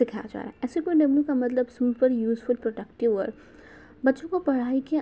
दिखाई जा रहा ऐसे कोई का मतलब सुनकर न्यूज़फुल प्रोडक्ट वर्क । बच्चों के पढ़ाई के --